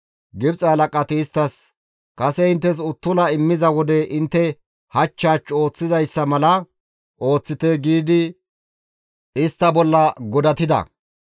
Gibxe halaqati isttas, «Kase inttes uttula immiza wode intte hach hach ooththizayssa mala ooththite» giidi istta bolla godatida.